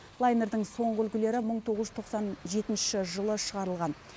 лайнердің соңғы үлгілері мың тоғыз жүз тоқсан жетінші жылы шығарылған